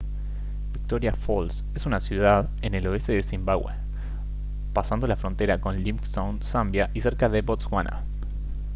victoria falls es una ciudad en el oeste de zimbabwe pasando la frontera con livingstone zambia y cercana a botswana